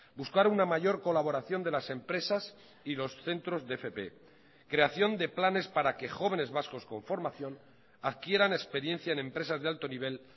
buscar una mayor colaboración de las empresas y los centros de fp creación de planes para que jóvenes vascos con formación adquieran experiencia en empresas de alto nivel